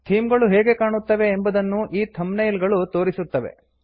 theme ಗಳು ಹೇಗೆ ಕಾಣುತ್ತವೆ ಎಂಬುದನ್ನು ಈ ಥಂಬ್ನೈಲ್ ಗಳು ತೋರಿಸುತ್ತವೆ